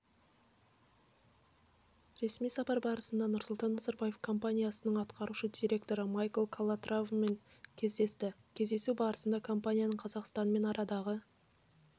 ресми сапар барысында нұрсұлтан назарбаев компаниясының атқарушы директоры майкл калатравамен кездесті кездесу барысында компанияның қазақстанмен арадағы